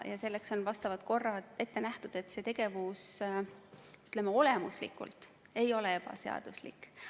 Selleks on vastavad korrad ette nähtud, see tegevus oma olemuselt ei ole ebaseaduslik.